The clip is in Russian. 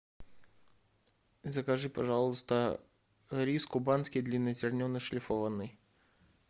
закажи пожалуйста рис кубанский длиннозерный шлифованный